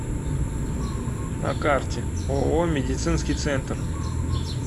на карте ооо медицинский центр